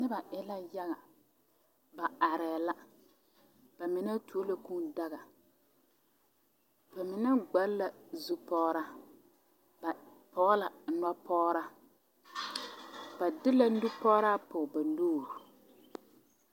Noba zeŋ la yaga a pɔge kaŋa are la a ŋmaara ŋmaare dɔglɔ a ŋmaao bɔɔde zu pɔge kaŋa are la a lere o nuuri ba mine su la bonzeere a gbaale bonzeere.